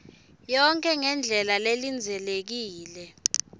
yonkhe ngendlela lelindzelekile